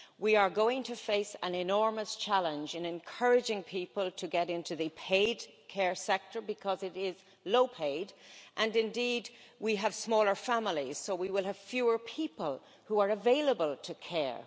We are going to face an enormous challenge in encouraging people to get into the paid care sector because it is low paid, and indeed we have smaller families, so we will have fewer people who are available to care.